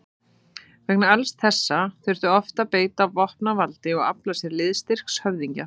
Vegna alls þessa þurfti oft að beita vopnavaldi og afla sér liðstyrks höfðingja.